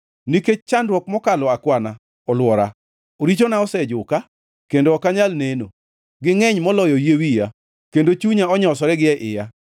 Nikech chandruok mokalo akwana olwora; richona osejuka kendo ok anyal neno. Gingʼeny moloyo yie wiya, kendo chunya onyosore gie iya.